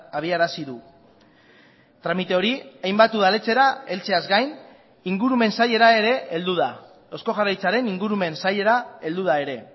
abiarazi du tramite hori hainbat udaletxera heltzeaz gain ingurumen sailera ere heldu da eusko jaurlaritzaren ingurumen sailera heldu da ere